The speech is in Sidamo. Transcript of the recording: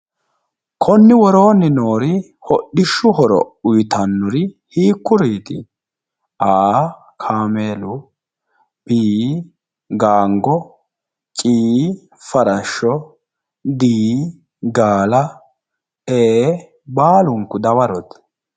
Konni worooni noori hodhishu horo uyitannor hiikkuriit? A, kaameelu B, gaanigo C, farasho D,gaala E, baalunku dawarote